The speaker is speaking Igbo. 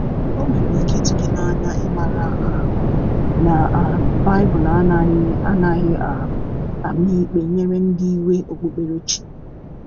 o nwere ike itu gi n'anya imara um na um bibulu anaghi anaghi um ama ikpe nyere ndi iwe okpukpere chi